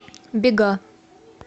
бега